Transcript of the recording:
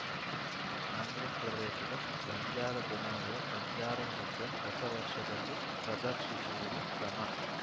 ಆಂಧ್ರ ಪ್ರದೇಶದ ಬಂಜಾರಾ ಜನಾಂಗದ ಬಂಜಾರಾ ನೃತ್ಯ ಹೊಸ ವರ್ಷದಲ್ಲಿ ಪ್ರದರ್ಶಿಸುವುದು ಕ್ರಮ